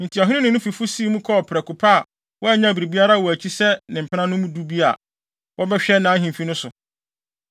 Enti ɔhene no ne ne fifo sii mu kɔɔ prɛko pɛ a wannyaw biribiara wɔ akyi sɛ ne mpenanom du bi a wɔbɛhwɛ nʼahemfi no so.